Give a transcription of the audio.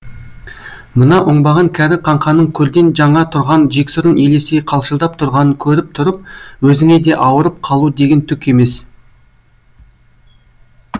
мына оңбаған кәрі қаңқаның көрден жаңа тұрған жексұрын елестей қалшылдап тұрғанын көріп тұрып өзіңе де ауырып қалу деген түк емес